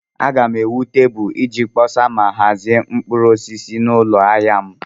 Aga m ewu tebụl iji kpọsa ma hazie mkpụrụ osisi n'ụlọ ahịa m.